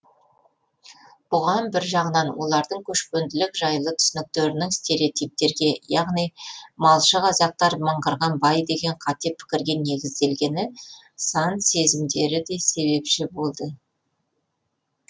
бұған бір жағынан олардың көшпенділік жайлы түсініктерінің стереотиптерге яғни малшы қазақтар мыңғырған бай деген қате пікірге негізделгені сан сезімдері де себепші болды